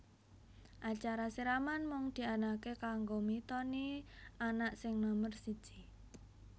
Acara siraman mung dianakake kanggo mitoni anak sing nomer siji